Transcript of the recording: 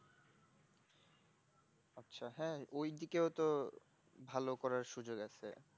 আচ্ছা হ্যাঁ ওই দিকেও তো ভালো করার সুযোগ আছে